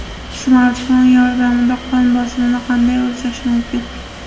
Smartfon yordamida qon bosimini qanday o‘lchash mumkin?.